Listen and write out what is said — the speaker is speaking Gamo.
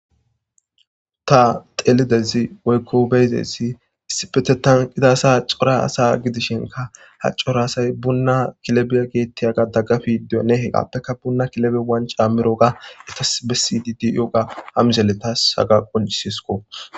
ta xelidezi woykko beyzesi issipetetan qitaasa hacora asa gidishinka hacco raasay bunna kilebiya geettiyaga daggafi dio nehe qappekka bunna kilebe wan caammiroga etas bisidid yooga hamizeletaas haga qoncisisko